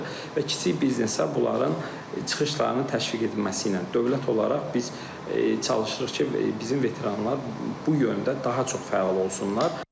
və kiçik biznesə bunların çıxışlarını təşviq edilməsi ilə dövlət olaraq biz çalışırıq ki, bizim veteranlar bu yöndə daha çox fəal olsunlar.